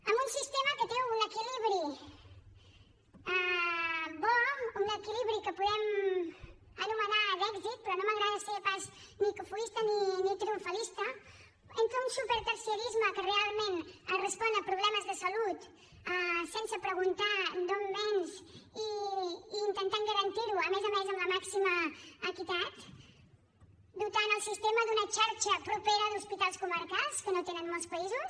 amb un sistema que té un equilibri bo un equilibri que podem anomenar d’èxit però no m’agrada ser pas ni cofoista ni triomfalista entre un superterciarisme que realment respon a problemes de salut sense preguntar d’on vens i intentant garantir ho a més a més amb la màxima equitat dotant el sistema d’una xarxa propera d’hospitals comarcals que no tenen molts països